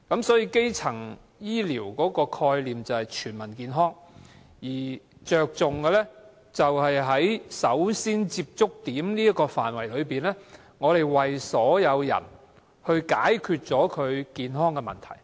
所以基層醫療的概念便是全民健康，而着重的是在首先接觸點這個範圍內，為所有人解決健康問題。